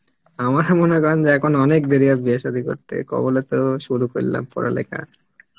আমার মনে করেন যে এখন অনেক দেরী আছে বিয়া সাদি করতে কবলে তো সুরু করলাম পরা লেখা